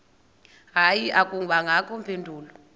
hayi akubangakho mpendulo